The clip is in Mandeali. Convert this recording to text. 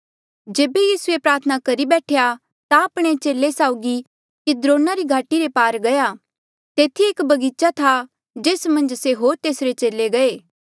जेबे यीसू ये प्रार्थना करी बैठेया ता आपणे चेले साउगी किद्रोना रे घाटी रे पार गया तेथी एक बगीचा था जेस मन्झ से होर तेसरे चेले गये